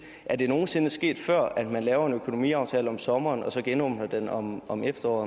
er det nogen sinde sket før at man laver en økonomiaftale om sommeren og så genåbner den om om efteråret